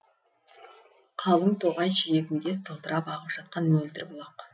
қалың тоғай жиегінде сылдырап ағып жатқан мөлдір бұлақ